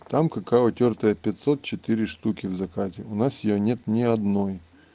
там какао тёртое пятьсот четыре штуки в заказе у нас её нет ни одной